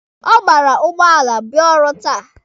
Ọ gbara ụgbọala bịa ọrụ taa.